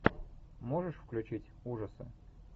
можешь включить ужасы